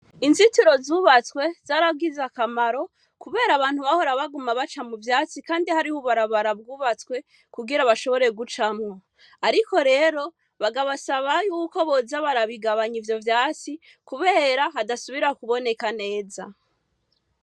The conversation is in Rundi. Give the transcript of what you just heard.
inzitiro zubatswe Zaragize akamaro kubera abantu baguma baca mu vyatsi Kandi hariho ubu barabara bwubatswe kugira bashobore kubucamwo. Ariko rero bakabasaba yuko boza barabigabanya ivyo vyatsi kubera hadasubira kuboneka neza.